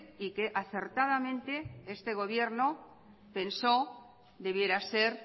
y que acertadamente este gobierno pensó debiera ser